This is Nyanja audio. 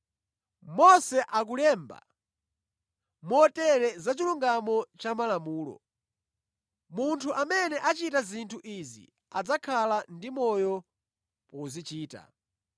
Mose akulemba motere zachilungamo cha malamulo, “Munthu amene achita zinthu izi adzakhala ndi moyo pozichita.”